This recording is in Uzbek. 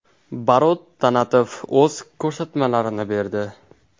Barot Tanatov o‘z ko‘rsatmalarini berdi.